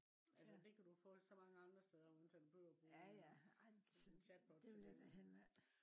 altså det kan du få så mange andre steder uden at du behøver at bruge en chatbot til det